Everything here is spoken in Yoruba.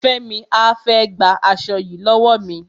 Fẹ́mi á fẹ́ gba aṣo yìí lọ́wọ́ mi.